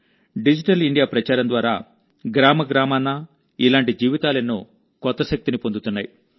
digital India ప్రచారం ద్వారా గ్రామగ్రామానా ఇలాంటి జీవితాలెన్నో కొత్త శక్తిని పొందుతున్నాయి